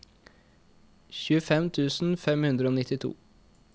tjuefem tusen fem hundre og nittito